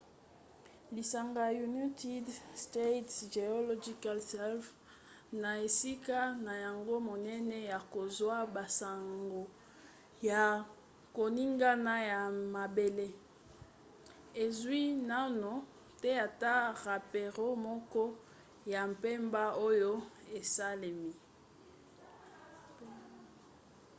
lisanga united states geological survey usgs na esika na yango monene ya kozwa basango ya koningana ya mabele ezwi naino te ata rapore moko ya mbeba oyo esalemi